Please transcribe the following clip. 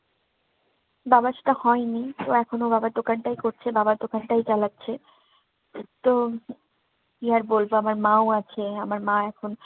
বাবার সেটা হয়নি, তো এখন ও বাবার দোকানটাই করছে। বাবার দোকানটাই চালাচ্ছে। তো কি আর বলবো, আমার মাও আছে। আমার মা এখন